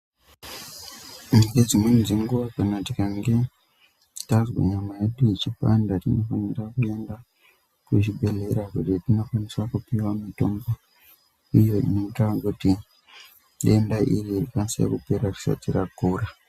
Ngedzimweni dzenguwa kana tikange tazwe nyama yedu ichipanda tinofanire kuenda kuchibhedhlera kuti tinokwanise kupiwe mitombo inoita kuti denda iri rikasire kupera risati rakura.